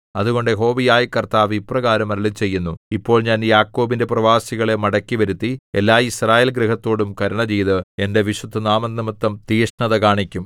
അതുകൊണ്ട് യഹോവയായ കർത്താവ് ഇപ്രകാരം അരുളിച്ചെയ്യുന്നു ഇപ്പോൾ ഞാൻ യാക്കോബിന്റെ പ്രവാസികളെ മടക്കിവരുത്തി എല്ലാ യിസ്രായേൽ ഗൃഹത്തോടും കരുണ ചെയ്ത് എന്റെ വിശുദ്ധനാമംനിമിത്തം തീക്ഷ്ണത കാണിക്കും